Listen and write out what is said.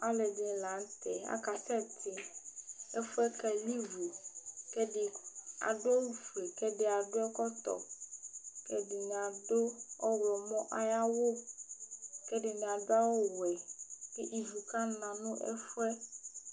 alo ɛdini lantɛ aka sɛ ti ɛfuɛ keli vu k'ɛdi adu awu fue k'ɛdi adu ɛkɔtɔ k'ɛdini adu ɔwlɔmɔ ayi awu k'ɛdini adu awu wɛ k'ivu ka na no ɛfuɛ